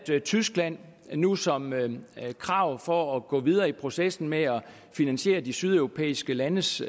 tyskland nu som krav for at gå videre i processen med at finansiere de sydeuropæiske landes